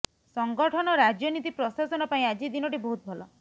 ସଂଗଠନ ରାଜନୀତି ପ୍ରଶାସନ ପାଇଁ ଆଜି ଦିନଟି ବହୁତ ଭଲ